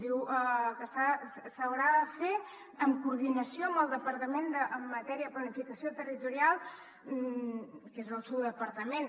diu que s’haurà de fer en coordinació amb el departament en matèria de planificació territorial que és el seu departament